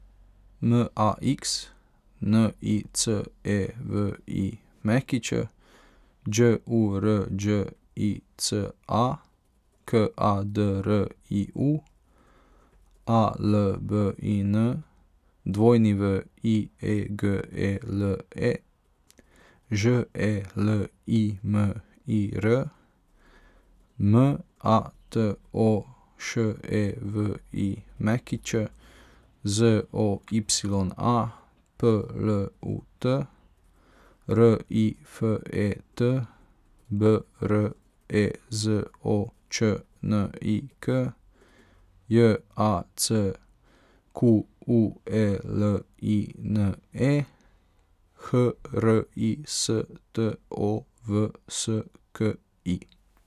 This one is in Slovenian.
M A X, N I C E V I Ć; Đ U R Đ I C A, K A D R I U; A L B I N, W I E G E L E; Ž E L I M I R, M A T O Š E V I Ć; Z O Y A, P L U T; R I F E T, B R E Z O Č N I K; J A C Q U E L I N E, H R I S T O V S K I.